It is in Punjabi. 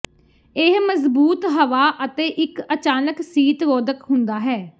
ਇਹ ਮਜ਼ਬੂਤ ਹਵਾ ਅਤੇ ਇੱਕ ਅਚਾਨਕ ਸੀਤ ਰੋਧਕ ਹੁੰਦਾ ਹੈ